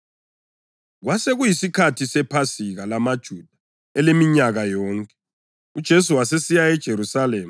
Kwasekuyisikhathi sePhasika lamaJuda eleminyaka yonke, uJesu wasesiya eJerusalema.